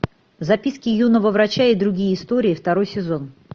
записки юного врача и другие истории второй сезон